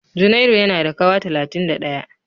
Junairu yana da kawa talatin da ɗaya.